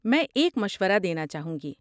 میں ایک مشورہ دینا چاہوں گی۔